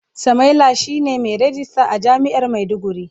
Samaila shine mai ragista a jami'ar maiduguri.